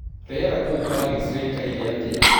Rĩera kũũ paris rĩĩkaĩre atia